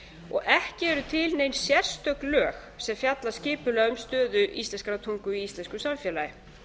og ekki eru til nein sérstök lög sem fjalla skipulega um stöðu íslenskrar tungu í íslensku samfélagi